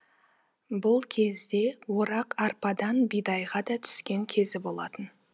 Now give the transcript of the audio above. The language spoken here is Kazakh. бұл кезде орақ арпадан бидайға да түскен кезі болатын